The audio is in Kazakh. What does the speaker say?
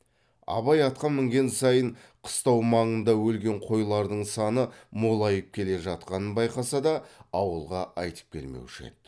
абай атқа мінген сайын қыстау маңында өлген қойлардың саны молайып келе жатқанын байқаса да ауылға айтып келмеуші еді